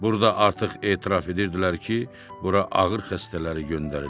Burda artıq etiraf edirdilər ki, bura ağır xəstələri göndərirlər.